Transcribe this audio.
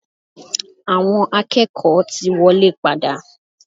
Awọn akẹ́kọ̀ọ́ ti wọlé padà.